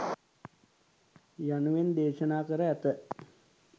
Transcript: යනුවෙන් දේශනා කර ඇත.